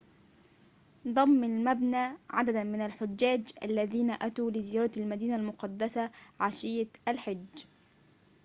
ضم المبنى عدداً من الحجاج الذين أتوا لزيارة المدينة المقدسة عشية الحج